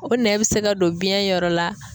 O nɛn be se ka don biyɛn yɔrɔ la.